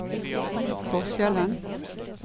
forskjellen